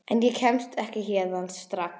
En ég kemst ekki héðan strax.